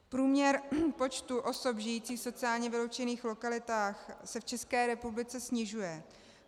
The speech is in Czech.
Průměr počtu osob žijících v sociálně vyloučených lokalitách se v České republice snižuje.